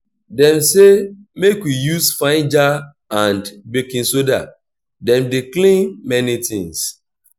dem sey make we use vinegar and baking soda dem dey clean many tins.